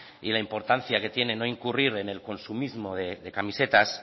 y la importancia que tiene no incurrir en el consumismo de camisetas